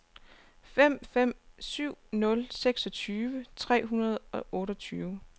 fem fem syv nul seksogtyve tre hundrede og otteogtyve